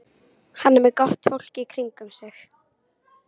Hann er með gott fólk í kringum sig.